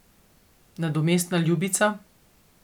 Nadomestna ljubica.